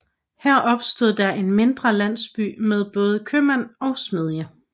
Her opstod der en mindre landsby med både købmand og smedje